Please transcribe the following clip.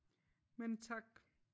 Men tak